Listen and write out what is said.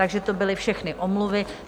Takže to byly všechny omluvy.